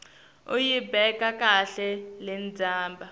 uyibeka kahle lendzaba